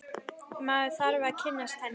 Maður þarf að kynnast henni!